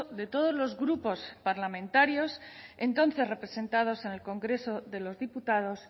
de todos los grupos parlamentarios entonces representados en el congreso de los diputados